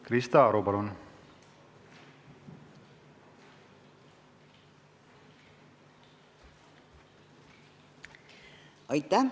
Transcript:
Krista Aru, palun!